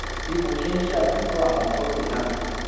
bí mo ṣe ń ṣàtúntò àwọn fọ́tò náà